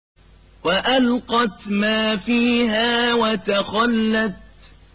وَأَلْقَتْ مَا فِيهَا وَتَخَلَّتْ